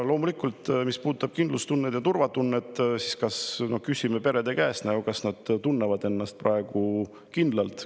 Mis puudutab kindlustunnet ja turvatunnet, siis küsime perede käest, kas nad tunnevad ennast praegu kindlalt.